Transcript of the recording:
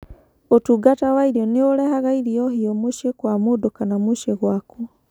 ũtungata wa irio nĩ ũrehaga irio hiũ mũciĩ kwa mũndũ kana mũciĩ gwaku.